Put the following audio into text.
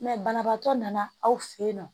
banabagatɔ nana aw fɛ yen nɔ